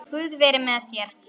Guð veri með þér.